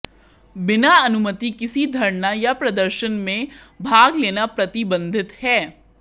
बिना अनुमति किसी धरना या प्रदर्शन में भाग लेना प्रतिबंधित है